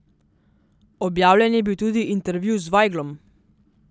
Objavljen je bil tudi intervju z Vajglom.